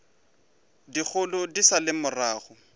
dikgolo di sa le morago